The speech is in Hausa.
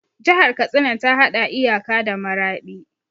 Jihar Katsina ta haɗa iyaka da Maraɗi.